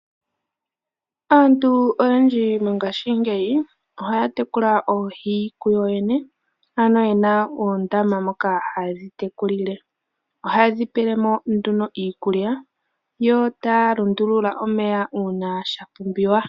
Aantu oyendji mongaashingeyi, ohaya tekula oohi kuyo yene, ano yena oondama moka ha yedhi tekulile. Ohaye dhi pelemo nduno iikulya, yo taya lundulula omeya uuna sha pumbiwa.